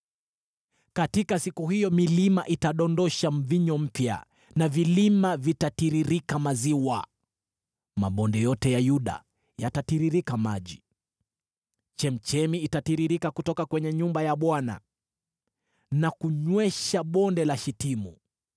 “Katika siku hiyo milima itadondosha divai mpya, na vilima vitatiririka maziwa; mabonde yote ya Yuda yatatiririka maji. Chemchemi itatiririka kutoka kwenye nyumba ya Bwana na kunywesha Bonde la Shitimu.